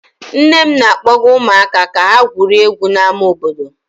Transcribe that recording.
Nne m na-akpọga ụmụaka ka ha gwurie egwu n'ámá obodo.